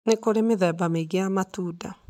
Nĩ kũrĩ mĩthemba mĩingĩ ya matunda.